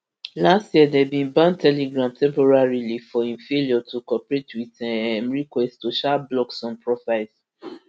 last year dem bin ban telegram temporarily for im failure to cooperate wit um requests to um block some profiles